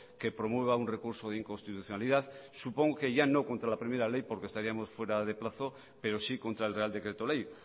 que promueva un recurso de inconstitucionalidad supongo que ya no contra la primera ley porque estaríamos fuera de plazo pero sí contra el real decreto ley